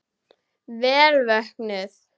Vel vöknuð!